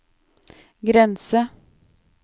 grense